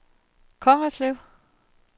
Kongerslev